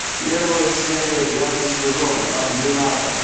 первая серия пятый сезон ординатор